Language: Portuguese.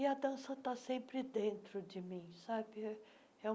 E a dança está sempre dentro de mim. sabe é é um